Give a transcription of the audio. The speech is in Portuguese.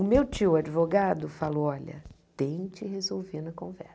O meu tio advogado falou, olha, tente resolver na